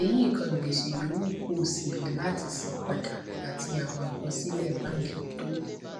èyí kan gbèsè yòówù kó o ṣì ní láti san padà àti àwọn àkọsílè báńkì tó